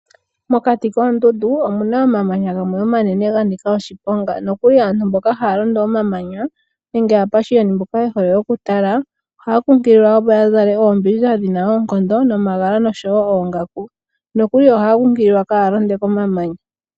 Mokati koondundu omuna omamanya gamwe omanene ganika oshiponga, nokuli aantu mboka haya londo omamanya nenge aapashiyoni mboka yehole oku tala ohaya nkunkililwa opo yazale oombindja dhina oonkondo nomagala nosho woo oongaku. Nokuli ohaya nkunkililwa ka ya londe komamanya.